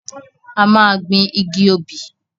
A máa gbin igi obì.